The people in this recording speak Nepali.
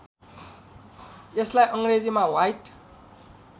यसलाई अङ्ग्रेजीमा ह्वाइट